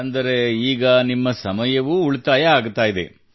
ಅಂದರೆ ಈಗ ನಿಮ್ಮ ಸಮಯವೂ ಉಳಿತಾಯವಾಗುತ್ತದೆ